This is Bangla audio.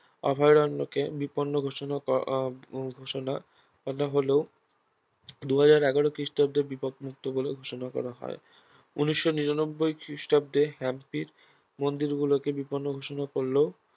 অভয়ারণ্যকে বিপন্ন ঘোষণা করা আহ ঘোষণা করা হল দুই হাজার এগার খ্রিস্টাব্দে বিপদমুক্ত বলে ঘোষণা করা হয় ঊনিশ নিরানব্বই খ্রিষ্টাব্দে হাম্পির মন্দিরগুলিকে বিপন্ন ঘোষণা করলো